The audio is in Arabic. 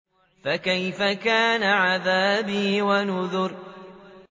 فَكَيْفَ كَانَ عَذَابِي وَنُذُرِ